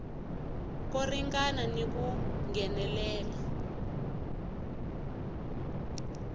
ko ringana ni ku nghenelela